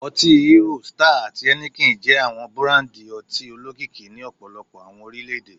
Oti Hero, Star, ati Heineken jẹ awọn burandi ọti olokiki ni ọpọlọpọ awọn orilẹ-ede